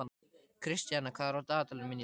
Kristian, hvað er á dagatalinu mínu í dag?